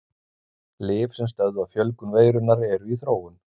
Lyf sem stöðva fjölgun veirunnar eru í þróun.